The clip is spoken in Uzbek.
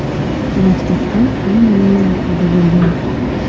Maktabda hammaning laqabi bo‘lgan.